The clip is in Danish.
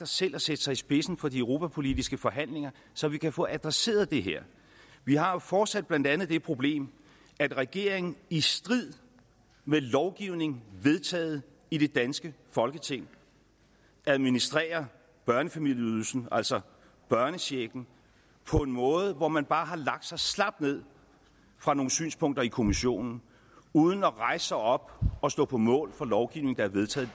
selv at stille sig i spidsen for de europapolitiske forhandlinger så vi kan få adresseret det her vi har jo fortsat blandt andet det problem at regeringen i strid med lovgivning vedtaget i det danske folketing administrerer børnefamilieydelsen altså børnechecken på den måde at man bare har lagt sig slapt ned for nogle synspunkter i kommissionen uden at rejse sig op og stå på mål for lovgivning der er vedtaget